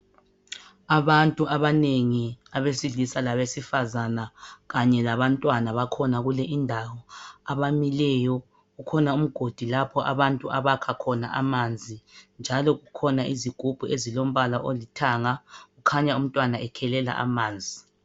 Abantu abanengi abesilisa labezifazana kanye labantwana bakhona kulindawo abamileyo kukhona umgodi lapha abantu abakha khona amanzi njalo kukhona izigubhu ezilombala olithanga kukhanya umntwana ekhelela amanzi.